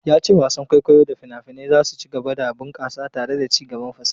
Ya ce wasan kwaikwayo da fina-finai za su ci gaba da bunkasa tare da ci gaban fasaha.